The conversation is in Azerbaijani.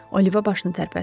Oliva başını tərpətdi.